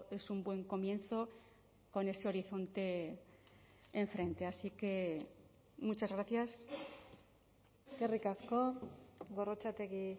es un buen comienzo con ese horizonte enfrente así que muchas gracias eskerrik asko gorrotxategi